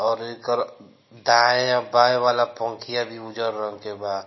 और एकर दाये और बाये वाला पंखिया भी उजजर रंग के बा।